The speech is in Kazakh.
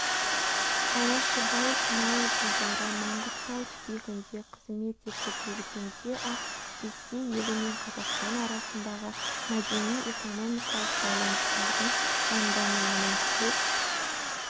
алашыбай сонау жылдары маңғыстау түбегінде қызмет етіп жүргенде-ақ ресей елі мен қазақстан арасындағы мәдени-экономикалық байланыстардың жандануына көп